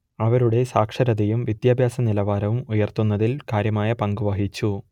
അവരുടെ സാക്ഷരതയും വിദ്യാഭ്യാസനിലവാരവും ഉയർത്തുന്നതിൽ കാര്യമായ പങ്കു വഹിച്ചു